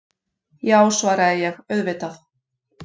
Já, svaraði ég, auðvitað.